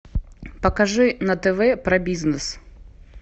покажи на тв про бизнес